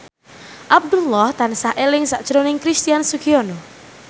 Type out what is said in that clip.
Abdullah tansah eling sakjroning Christian Sugiono